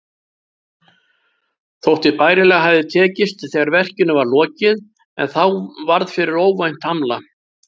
Þótti bærilega hafa tekist þegar verkinu var lokið, en þá varð fyrir óvænt hamla.